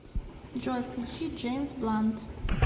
джой включи джеймс блант